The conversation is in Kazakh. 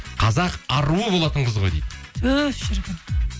қазақ аруы болатын қыз ғой дейді түһ шіркін